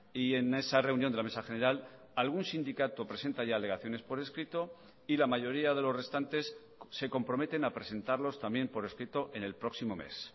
y en esa reunión de la mesa general algún sindicato presenta ya alegaciones por escrito y la mayoría de los restantes se comprometen a presentarlos también por escrito en el próximo mes